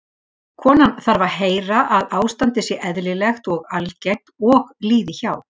Konan þarf að heyra að ástandið sé eðlilegt og algengt og líði hjá.